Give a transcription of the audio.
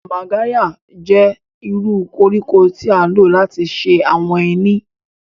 Magarya jẹ iru koriko ti a lo lati ṣe awọn eni.